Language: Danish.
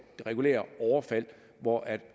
regulære overfald hvor